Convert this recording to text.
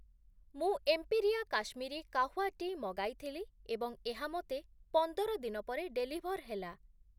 ମୁଁ Empiria Kashmiri kahwa tea' ମଗାଇଥିଲି ଏବଂ ଏହା ମୋତେ ପନ୍ଦର ଦିନ ପରେ ଡେଲିଭର୍ ହେଲା ।